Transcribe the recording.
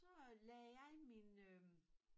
Så øh lagde jeg min øh